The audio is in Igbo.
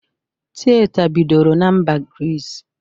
Tịyeta bidoro na mba Grịs